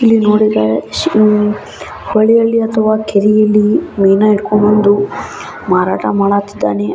ಇಲ್ಲಿ ನೋಡಿದ್ದರೆ ಅಂ ಹೊಳೆಯಲ್ಲಿ ಅಥವಾ ಕೆರೆಯಲ್ಲಿ ಮೀನಾ ಹಿಡ್ಕೋ ಬಂದು ಮಾರಾಟ ಮಾಡತಿದ್ದಾನೆ.